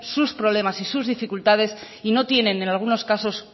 sus problemas y sus dificultades y no tienen en algunos casos